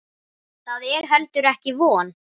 Það er heldur ekki von.